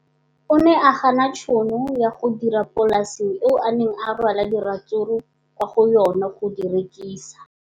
O ne a gana tšhono ya go dira kwa polaseng eo a neng rwala diratsuru kwa go yona go di rekisa.